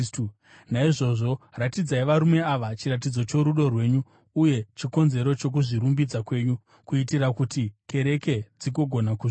Naizvozvo ratidzai varume ava chiratidzo chorudo rwenyu uye chikonzero chokuzvirumbidza kwenyu, kuitira kuti kereke dzigogona kuzviona.